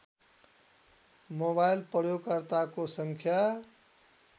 mobile प्रयोगकर्ताको सङ्ख्या